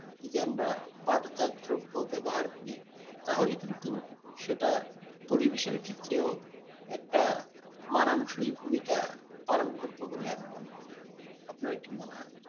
যদি আমরা পাট জাত দ্রব্য ব্যবহার করি তাহলে কিন্তু সেটা পরিবেষের ক্ষেত্রেও একটা মানানসই ভূমিকা পালন করব বলে আমি মনে করি আপনার কি মনে হয়?